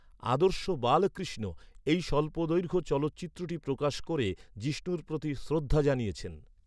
‘আদর্শ বালকৃষ্ণ’, এই স্বল্পদৈর্ঘ্য চলচ্চিত্রটি প্রকাশ ক’রে জিষ্ণুর প্রতি শ্রদ্ধা জানিয়েছেন।